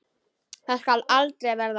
Það skal aldrei verða!